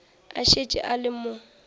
a šetše a le mo